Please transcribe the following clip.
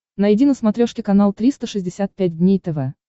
найди на смотрешке канал триста шестьдесят пять дней тв